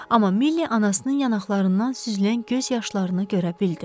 Amma Milli anasının yanaqlarından süzülən göz yaşlarını görə bildi.